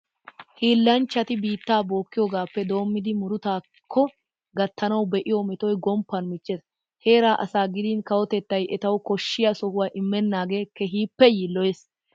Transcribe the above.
Hiillanchchati biittaa bookkiyigaappe doommidi murutaakko gattanawu be'iyo metoy gomppan michchees. Heeraa asaa gidin kawotettay etawu koshshiya sohuwa immennaagee keehippe yiilloyees.